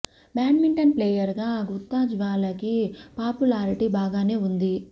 badminton player గా గుత్తా జ్వాలకి popularity బాగానే ఉంది